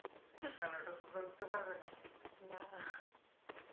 কেন ওটাতে তো উঠতে পারবে না.